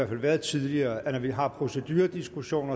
fald været tidligere at når vi har en procedurediskussion